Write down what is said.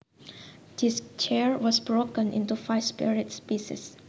This chair was broken into five separate pieces